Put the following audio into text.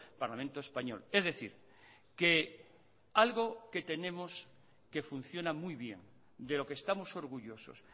parlamento español es decir que algo que tenemos que funciona muy bien de lo que estamos orgullosos